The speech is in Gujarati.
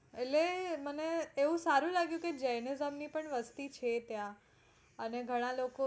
એટલે મને બવ સારું લાગ્યું તું jainism ની પણ વસ્તી છે ત્યાં અને ઘણા લોકો